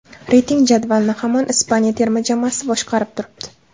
Reyting jadavalini hamon Ispaniya terma jamoasi boshqarib turibdi.